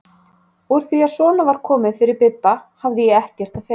Úr því að svona var komið fyrir Bibba hafði ég ekkert að fela.